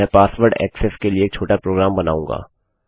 मैं password access के लिए एक छोटा प्रोग्राम बनाऊँगा